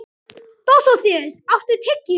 Dósóþeus, áttu tyggjó?